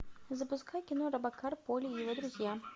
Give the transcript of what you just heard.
запускай кино робокар поли и его друзья